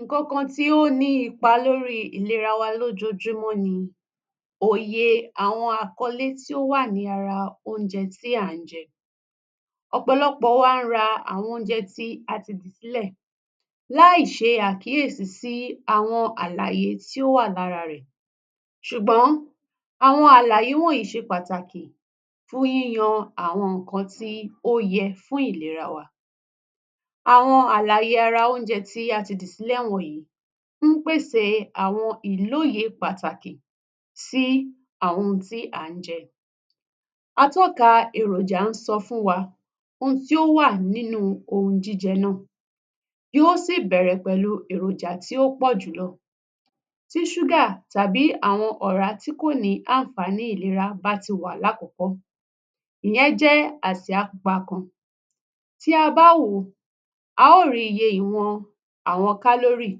Ǹǹkankan tí ó ní ipa lórí ìlera wa lójoojúmọ́ ni òye àwọn àkọ́lé tí ó wà ní ara oúnjẹ tí à ń jẹ. Ọ̀pọ̀lọpọ̀ wa ń ra àwọn oúnjẹ tí a ti dì sílẹ̀ láì ṣe àkíyèsí sí àwọn àlàyé tí ó wà lára rẹ̀. Ṣùgbọ́n àwọn àlàyé wọ̀nyìí ṣe pàtàkì fún yíyan àwọn nǹkan tí ó yẹ fún ìlera wa. Àwọn àlàyé ara oúnjẹ tí a ti dì sílẹ̀ wọ̀nyìí ń pèsè àwọn ìlóye pàtàkì sí àwọn ohun tí à ń jẹ. Atọ́ka èròjà ń sọ fún wa ohun tí ó wà nínúu ohun jíjẹ náà, yó sì bẹ̀rẹ̀ pẹ̀lú èròjà tí ó pọ̀ jùlọ. Tí ṣúgà tàbí àwọn ọ̀rá tí kò ní ànfààní ìlera bá ti wà lákọ̀ọ́kọ́, ìyẹn jẹ́ àsíá pupa kan. Tí a bá wò ó, a ó rí iye ìwọ̀n àwọn kálórì,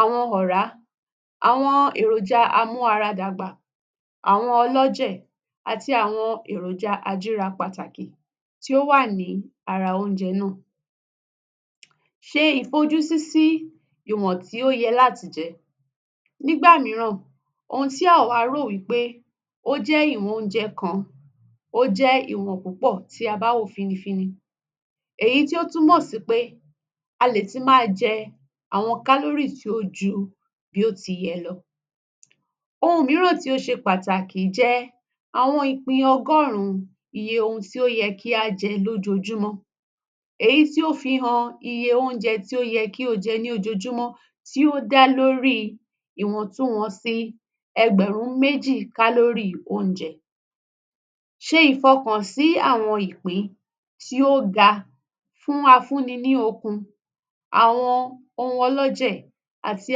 àwọn ọ̀rá, àwọn èròjà amú-ara-dàgbà, àwọn ọlọ́jẹ̀, àti àwọn èròjà ajíra pàtàkì tí ó wà ní ara oúnjẹ náà. Ṣe ìfojúsí sí ìwọ̀n tí ó yẹ láti jẹ. Nígbà mìíràn, ohun tí àwa rò wí pé ó jẹ́ ìwọ̀n oúnjẹ kan, ó jẹ́ ìwọ̀n púpọ̀, tí a bá wò ó fínnífínní, èyí tí ó túmọ̀ sí pé a lè ti máa jẹ àwọn kálórì tí ó ju bí ó ti yẹ lọ. Ohun mìíràn tí ó ṣe pàtàkì jẹ́ àwọn ìpín ọgọ́rùn-ún iye ohun tí ó yẹ kí á jẹ lójoojúmọ́, èyí tí ó fi han iye oúnjẹ tí ó yẹ kí o jẹ ní ojoojúmọ́, tí ó dá lóríi ìwọ̀ntunwọ̀nsi ẹgbẹ̀rún méjì kálórì oúnjẹ. Ṣe ìfọkànsí àwọn ìpín tí ó ga fún afúnni ní okun, àwọn ohun ọlọ́jẹ̀ àti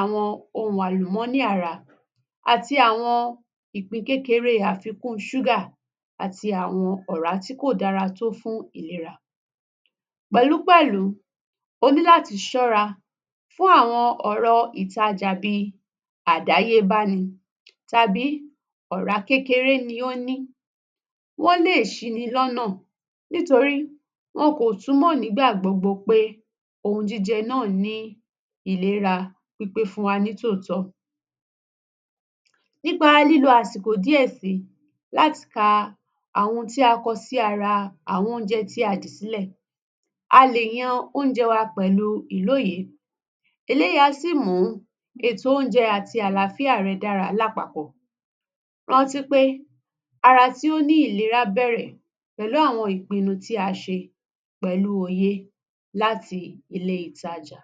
àwọn ohun àlùmọ́nì ara, àti àwọn ìpín kékeré afikún ṣúgà àti àwọn ọ̀rá tí kò dára tó fún ìlera. Pẹ̀lúpẹ̀lú, o ní láti ṣọ́ra fún àwọn ọ̀rọ̀ ìtajà bíi àdáyébáni tàbí ọ̀rá kékeré ni ó ní. Wọ́n lè ṣini lọ́nà nítorí wọn kò túmọ̀ nígbà gbogbo pé ohun jíjẹ náà ní ìlera pípé fún wa nítòótọ́. Nípa lílo àsìkò díẹ̀ síi láti ka àwọn ohun tí a kọ sí ara àwọn oúnjẹ tí dì sílẹ̀, a lè yan oúnjẹ wa pẹ̀lú ilóye..Eléyìí á sì mú ètò oúnjẹ àti àlááfíà rẹ dára lápapọ̀. Rántí pé ara tí ó ní ìlera bẹ̀rẹ̀ pẹ̀lú àwọn ìpinnu tí a ṣe pẹ̀lúu òye láti ilé ìtajà.